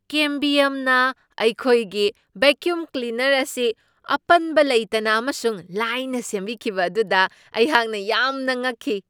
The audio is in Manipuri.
ꯀꯦꯝꯕꯤꯌꯝꯅ ꯑꯩꯈꯣꯏꯒꯤ ꯕꯦꯀ꯭ꯌꯨꯝ ꯀ꯭ꯂꯤꯅꯔ ꯑꯁꯤ ꯑꯄꯟꯕ ꯂꯩꯇꯅ ꯑꯃꯁꯨꯡ ꯂꯥꯏꯅ ꯁꯦꯝꯕꯤꯈꯤꯕ ꯑꯗꯨꯗ ꯑꯩꯍꯥꯛꯅ ꯌꯥꯝꯅ ꯉꯛꯈꯤ ꯫